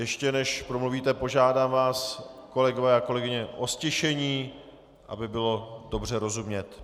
Ještě než promluvíte, požádám vás, kolegové a kolegyně, o ztišení, aby bylo dobře rozumět.